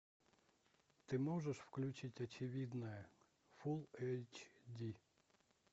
ты можешь включить очевидное фулл эйч ди